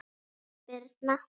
Guðrún Birna.